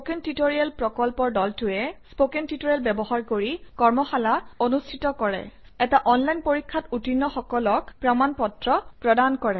spoken tutorial প্ৰকল্পৰ দলটোৱে spoken tutorial ব্যৱহাৰ কৰি কৰ্মশালা অনুষ্ঠিত কৰে এটা অনলাইন পৰীক্ষাত উত্তীৰ্ণসকলক প্ৰমাণ পত্ৰ প্ৰদান কৰে